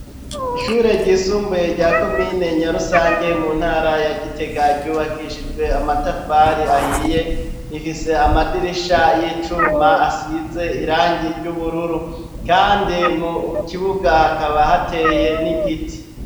Ishure ryisumbuye rya komine Nyarusange mu ntara ya Gitega ryubakishijwe amatafari ahiye, rifise amadirisha y'icuma asize irangi ry'ubururu kandi mu kibuga hakaba hateye n'igiti.